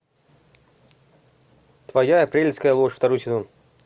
твоя апрельская ложь второй сезон